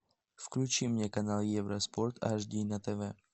включи мне канал евроспорт аш ди на тв